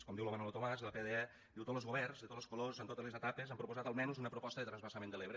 com diu lo manolo tomàs de la pde diu tots los governs de tots los colors en totes les etapes han proposat almenys una proposta de transvasament de l’ebre